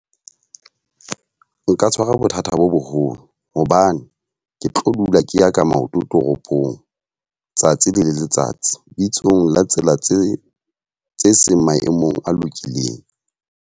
Nka tshwarwa bothata bo boholo. Hobane ke tlo dula ke ya ka maoto toropong tsatsi le letsatsi. Bitsong la tsela tse tse seng maemong a lokileng.